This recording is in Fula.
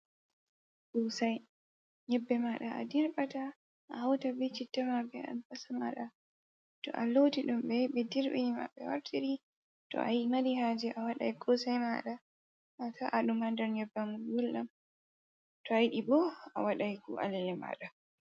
Kosai nyebbe maɗa a dirbata a hauta be citta ma be albasa ma maɗa ,to a loti dumbe be dirbini mada be wartiri to a marihaje a waɗai kosai maɗa ata a ɗum hader nyebbam guldam to a yidi bo a waɗai ko alele maɗa.